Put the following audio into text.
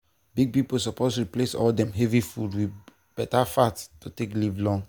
big people suppose replace all dem heavy food with beta fat to take live long.